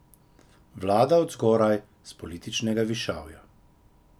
Vlada od zgoraj, s političnega višavja.